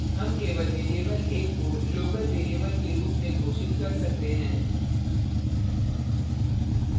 हम केवल variable a को local variable के रूप में घोषित कर सकते हैं